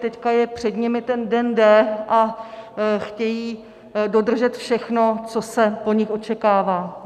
Teď je před nimi ten den D a chtějí dodržet všechno, co se po nich očekává.